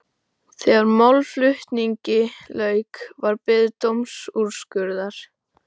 Þegar málflutningi lauk var beðið dómsúrskurðar.